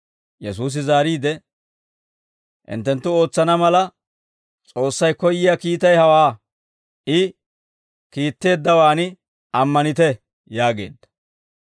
Yesuusi zaariide, «Hinttenttu ootsana mala, S'oossay koyyiyaa kiitay hawaa; I kiitteeddawaan ammanite» yaageedda.